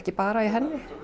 bara í henni